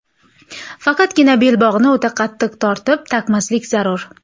Faqatgina belbog‘ni o‘ta qattiq tortib taqmaslik zarur.